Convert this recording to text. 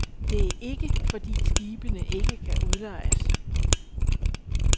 Det er ikke, fordi skibene ikke kan udlejes.